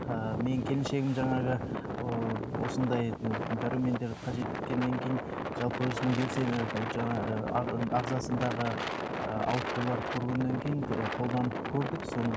ыыы менің келіншегім жаңағы ыыы осындай дәрумендерді қажет еткеннен кейін жалпы өзінің жаңа ы ағзасындағы ыыы ауытқуларды көргеннен кейін ы қолданып көрдік соны